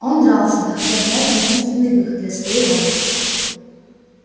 он дрался находя в драке единственный выход для своей радости